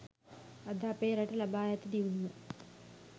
අද අපේ රට ලබා ඇති දියුණුව